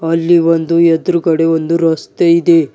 ಅಲ್ಲಿ ಒಂದು ಎದುರುಗಡೆ ಒಂದು ರಸ್ತೆ ಇದೆ.